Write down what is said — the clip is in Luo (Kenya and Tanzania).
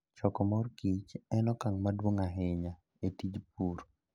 Choko mor kich en okang' maduong' ahinya e tij pur.